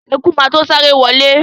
Eku má to sáré wọlé.